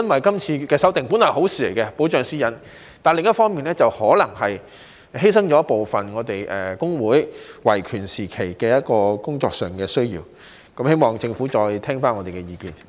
今次的修訂旨在保障私隱本來是好事，但另一方面，可能會犧牲了我們工會在維權工作上的部分權利，希望政府再聆聽我們的意見。